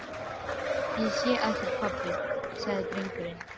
Ég sé ekkert pabbi, sagði drengurinn.